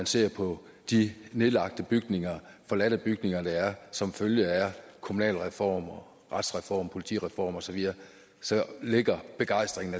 ser på de nedlagte bygninger forladte bygninger der er som følge af kommunalreform retsreform politireform osv så ligger begejstringen